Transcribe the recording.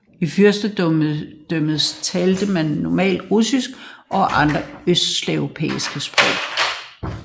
I fyrstendømmet talte man normalt rusinsk og andre østslaviske sprog